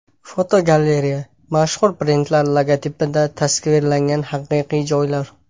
Fotogalereya: Mashhur brendlar logotipida tasvirlangan haqiqiy joylar.